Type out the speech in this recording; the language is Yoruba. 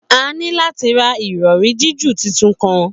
A ni lati ra irọri jiju titun kan